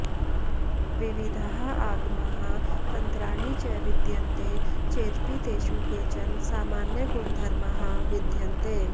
विविधाः आगमाः तन्त्राणि च विद्यन्ते चेदपि तेषु केचन सामान्यगुणधर्माः विद्यन्ते